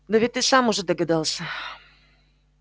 да ведь ты сам уже догадался